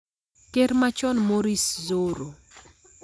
Ker machon Morris Dzoro,